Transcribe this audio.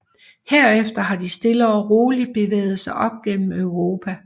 Herefter har de stille og roligt bevæget sig op gennem europa